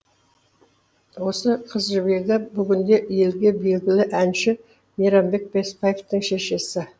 осы қызжібегі бүгінде елге белгілі әнші мейрамбек беспаевтың шешесі